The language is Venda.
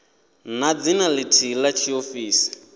na dzina lithihi la tshiofisi